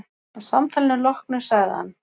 Að samtalinu loknu sagði hann